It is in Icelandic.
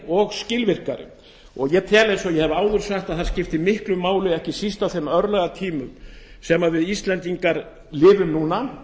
og skilvirkari og ég tel eins og ég hef áður sagt að það skipti ekki síst miklu máli á þeim örlagatímum sem við íslendingar lifum núna